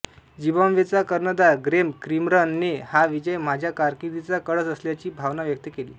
झिम्बाब्वेच्या कर्णधार ग्रेम क्रिमरने हा विजय माझ्या कारकिर्दीचा कळस असल्याची भावना व्यक्त केली